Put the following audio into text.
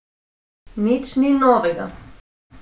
Nič ni novega.